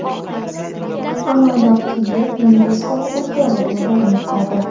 Amaldor Kiyev meri sifatida faoliyatini davom ettiradi.